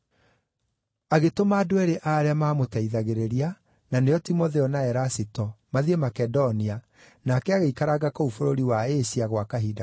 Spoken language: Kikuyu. Agĩtũma andũ eerĩ a arĩa maamũteithagĩrĩria, na nĩo Timotheo na Erasito, mathiĩ Makedonia, nake agĩikaranga kũu bũrũri wa Asia gwa kahinda kanini.